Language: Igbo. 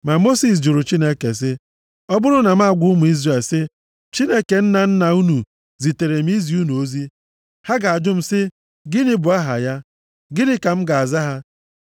Ma Mosis jụrụ Chineke sị, “Ọ bụrụ na m agwa ụmụ Izrel sị, ‘Chineke nna nna unu zitere m izi unu ozi,’ ha ga-ajụ m sị, ‘Gịnị bụ aha ya?’ Gịnị ka m ga-aza ha?”